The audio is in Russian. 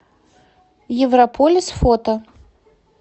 европолис фото